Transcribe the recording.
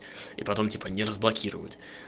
и потом типа не разблокирует